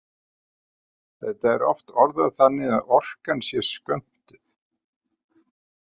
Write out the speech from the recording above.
Þetta er oft orðað þannig að orkan sé skömmtuð.